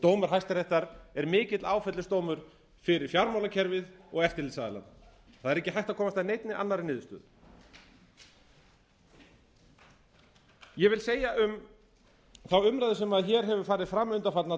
dómur hæstaréttar er mikill áfellisdómur fyrir fjármálakerfið og eftirlitsaðilana það er ekki hægt að komast að neinni annarri niðurstöðu ég vil segja um þá umræðu sem hér hefur farið fram undanfarna daga